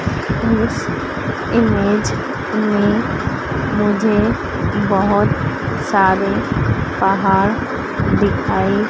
इस इमेज में मुझे बहोत सारे पहाड़ दिखाई--